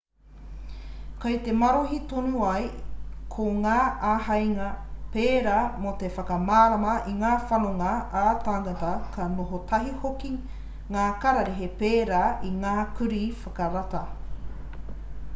kei te marohi tonu ia ko ngā āheinga pērā mō te whakamārama i ngā whanonga ā-tāngata ka noho tahi hoki ki ngā kararehe pērā i ngā kurī whakarata